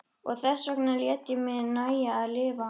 Og þessvegna lét ég mér nægja að lifa henni.